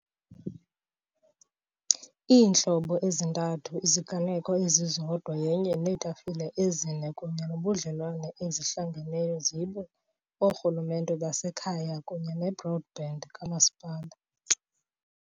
iintlobo ezintathu iziganeko ezizodwa yenye neetafile ezine kunye nobudlelwane ezihlangeneyo zibe oorhulumente basekhaya kunye broadband kamasipala.